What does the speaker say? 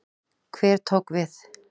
Hver tók við?